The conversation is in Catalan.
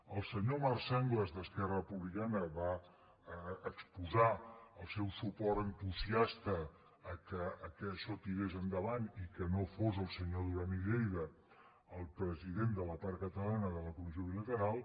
el senyor marc sanglas d’esquerra republicana va exposar el seu suport entusiasta perquè això tirés endavant i perquè no fos el senyor duran i lleida el president de la part catalana de la comissió bilateral